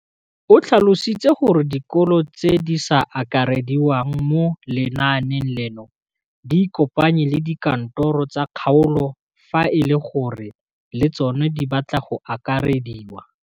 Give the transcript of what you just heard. O tlhalositse gore dikolo tse di sa akarediwang mo lenaaneng leno di ikopanye le dikantoro tsa kgaolo fa e le gore le tsona di batla go akarediwa.